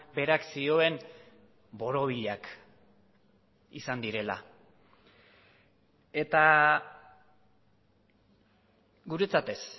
berak zioen borobilak izan direla eta guretzat ez